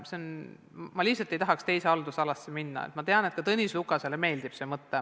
Ma lihtsalt ei tahaks teise haldusalasse minna, aga tean, et ka Tõnis Lukasele meeldib see mõte.